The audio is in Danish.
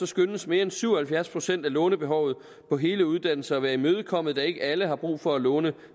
skønnes mere end syv og halvfjerds procent af lånebehovet på hele uddannelser at være imødekommet da ikke alle har brug for at låne